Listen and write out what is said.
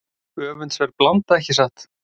Öfundsverð blanda ekki satt?